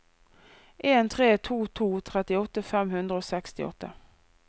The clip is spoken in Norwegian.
en tre to to trettiåtte fem hundre og sekstiåtte